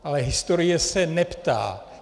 Ale historie se neptá.